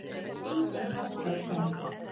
Engin hætta á ferð